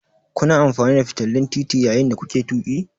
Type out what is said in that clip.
Kuna amfani da fitilun tuƙi yayin da kuke tuƙi?